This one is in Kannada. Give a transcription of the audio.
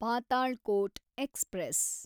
ಪಾತಾಳ್‌ಕೋಟ್ ಎಕ್ಸ್‌ಪ್ರೆಸ್